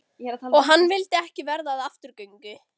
Og hann vildi ekki verða að afturgöngu.